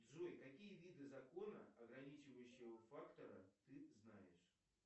джой какие виды закона ограничивающего фактора ты знаешь